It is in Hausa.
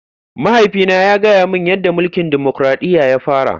Mahaifina ya gaya mani yadda mulkin dimokuradiyya ya fara.